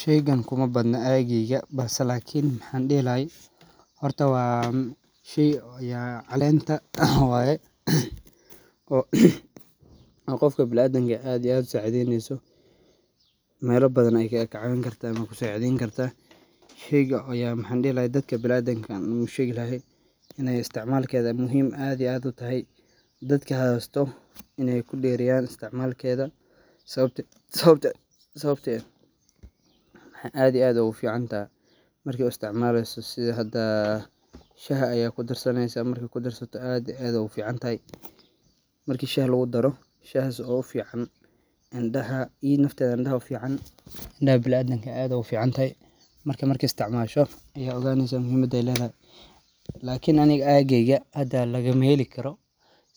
Sheygan kuma badna aai giigi balsa laakin maxan dhelaay. Horta waam shii o yaa caleenta ah way oo qofka bilaadan jecelan aad u saaceydiinayso maylo badan ay ka caawin kartaa ama ku saaceyn kartaa. Shayga ayaa maxan dhelaay dadka bilaadan kan muusheygil haay inee estaamalkeeda muhiim aad iyo aado tahay dadka haastoo inay ku dheeriyaan istaamalkeeda sababti sababta sababta aad iyo aad ugu fiicantah. Markii u istaamalaysa sida haddaa shaha ayaa ku darsaneysaa markii ku darsata aad iyo aad u fiicanthay, markii shah loogu daro. Shah si oo u fiican. indaha iyo nafta dan daha u fiican. Dha bila'aadan aad u fiican markii markii istaamaasho iyo ogaanisa muhimada leedahay. Laakin anig aa geeyga haddaa laga meeli karo